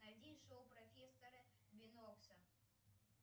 найди шоу профессора бинокса